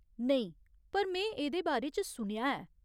नेईं, पर में एह्दे बारे च सुनेआ ऐ।